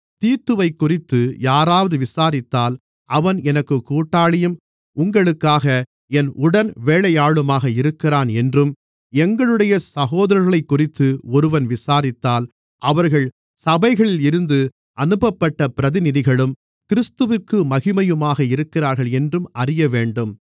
தீத்துவைக்குறித்து யாராவது விசாரித்தால் அவன் எனக்குக் கூட்டாளியும் உங்களுக்காக என் உடன்வேலையாளுமாக இருக்கிறான் என்றும் எங்களுடைய சகோதரர்களைக்குறித்து ஒருவன் விசாரித்தால் அவர்கள் சபைகளில் இருந்து அனுப்பப்பட்ட பிரதிநிதிகளும் கிறிஸ்துவிற்கு மகிமையுமாக இருக்கிறார்கள் என்றும் அறியவேண்டும்